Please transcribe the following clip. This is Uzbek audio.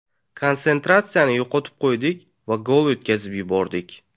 Konsentratsiyani yo‘qotib qo‘ydik va gol o‘tkazib yubordik.